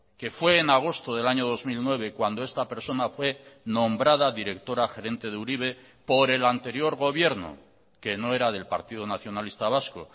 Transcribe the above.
que fue en agosto del año dos mil nueve cuando esta persona fue nombrada directora gerente de uribe por el anterior gobierno que no era del partido nacionalista vasco